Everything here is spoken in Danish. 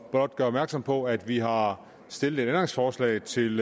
blot gøre opmærksom på at vi har stillet et ændringsforslag til